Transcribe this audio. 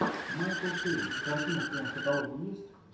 майкл кейн картина в твоем каталоге есть